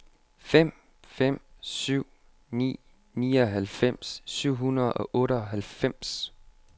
fem fem syv ni nioghalvfjerds syv hundrede og otteoghalvfems